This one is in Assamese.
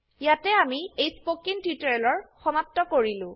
ইয়াতে আমি এই স্পকেন টিউটোৰিয়েলৰ সমাপ্ত কৰিলো